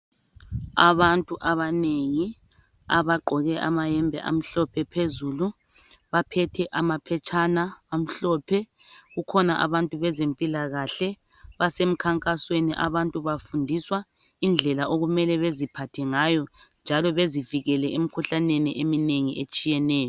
Abantu abanengi abaqgoke amayembe amhlophe phezulu baphethe amaphetshana amhlophe kukhona abantu bezempila kahle basemkhankasweni abantu bafundiswa indlela okumele beziphathe ngayo njalo bezivikele emikhuhlaneni etshiyeneyo